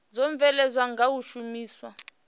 dzo bveledzwaho nga u shumiswa